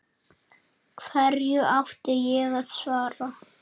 Hverju átti ég að svara.